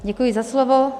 Děkuji za slovo.